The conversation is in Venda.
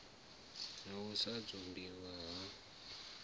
na u sa dzumbiwa ha